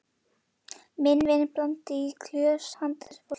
Minn vin blandaði í glös handa þessu fólki.